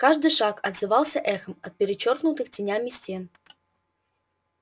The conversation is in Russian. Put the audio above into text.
каждый шаг отзывался эхом от перечёркнутых тенями стен